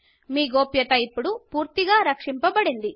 మీ గోప్యతా ఇప్పుడు పూర్తిగా రక్షించబడింది